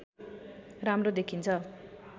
राम्रो देखिन्छ